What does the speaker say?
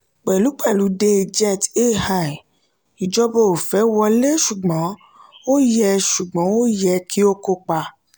pẹ̀lúpẹ̀lú de jet ai ìjọba ò fẹ́ wọlé ṣùgbọ́n ó yẹ ṣùgbọ́n ó yẹ kí ó kópa.